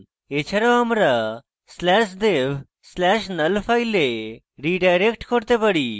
এছাড়াও আমরা slash dev slash null file redirect করতে পারি